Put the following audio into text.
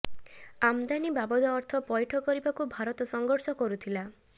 ଆମଦାନି ବାବଦ ଅର୍ଥ ପଇଠ କରିବାକୁ ଭାରତ ସଂଘର୍ଷ କରୁଥିଲା